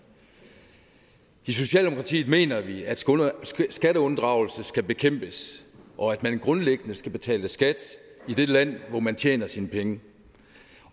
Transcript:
socialdemokratiet mener vi at skatteunddragelse skal bekæmpes og at man grundlæggende skal betale skat i det land hvor man tjener sine penge